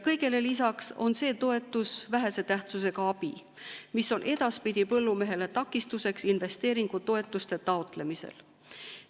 Kõigele lisaks on see toetus vähese tähtsusega abi, mis on edaspidi põllumehele takistuseks investeeringutoetuste taotlemisel.